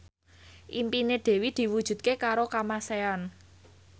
impine Dewi diwujudke karo Kamasean